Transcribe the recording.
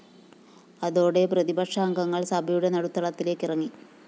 അതോടെ പ്രതിപക്ഷാംഗങ്ങള്‍ സഭയുടെ നടുത്തളത്തിലേക്ക് ഇറങ്ങി